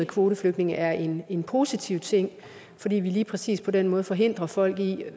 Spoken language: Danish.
kvoteflygtninge er en en positiv ting fordi vi lige præcis på den måde forhindrer folk i